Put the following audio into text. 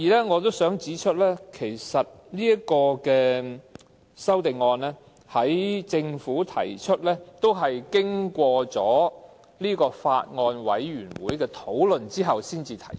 我想指出，政府這項修正案，其實也須經過法案委員會討論後才能提出。